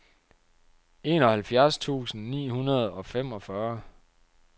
enoghalvfjerds tusind ni hundrede og femogfyrre